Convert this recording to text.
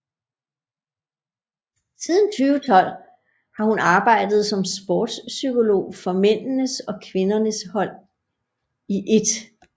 Siden 2012 har hun arbejdet som sports psykolog for mændenes og kvindernes hold i 1